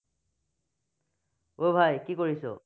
অই ভাই কি কৰিছ?